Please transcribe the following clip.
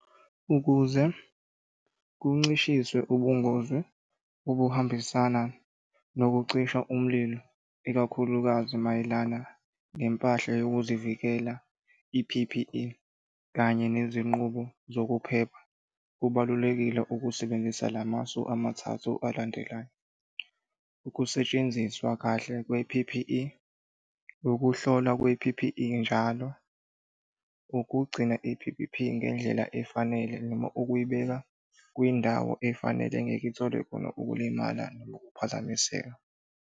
Ukuze kuncishiswe ubungozi obuhambisana nokucisha umlilo, ikakhulukazi mayelana nempahla yokuzivikela i-P_P_E kanye nezinqubo zokuphepha. Kubalulekile ukusebenzisa la masu amathathu alandelayo, ukusetshenziswa kahle kwe-P_P_E, ukuhlolwa kwe-P_P_E, njalo, ukugcina i-P_P_E ngendlela efanele noma ukuyibeka kwindawo efanele engeke ithole khona ukulimala noma ukuphazamiseka.